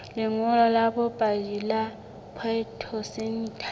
lengolo la bopaki la phytosanitary